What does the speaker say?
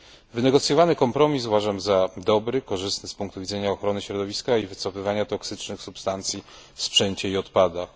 Wynegocjowany kompromis uważam za dobry, korzystny z punktu widzenia ochrony środowiska i wycofywania toksycznych substancji w sprzęcie i odpadach.